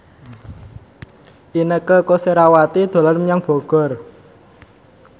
Inneke Koesherawati dolan menyang Bogor